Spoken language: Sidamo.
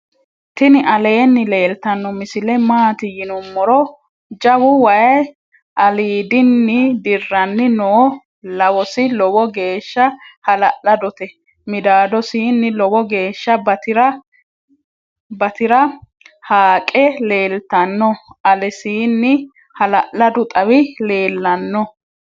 tini aleni leltano misile .maati yinumoro jawu wayi alidinidirani noo. lawosi loowo gesha hala'ladote .midadosini loowo gesha batira haaqe leltano. alesini hal'ladu xaawi lelano.